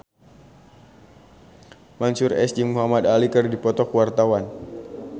Mansyur S jeung Muhamad Ali keur dipoto ku wartawan